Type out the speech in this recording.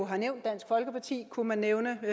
har nævnt dansk folkeparti kunne man nævne og